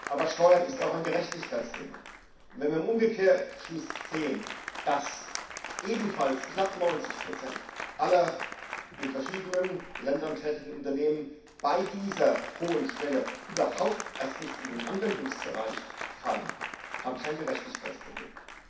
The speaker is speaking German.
Aber Steuern ist auch ein Gerechtigkeitsthema, und wenn wir im Umkehrschluss sehen, dass ebenfalls knapp 90 aller in verschiedenen Ländern tätigen Unternehmen bei dieser hohen Schwelle überhaupt nicht erst in den Anwendungsbereich fallen, habe ich ein Gerechtigkeitsproblem.